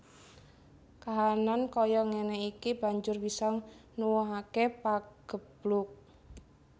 Kahanan kaya ngéné iki banjur bisa nuwuhaké pageblug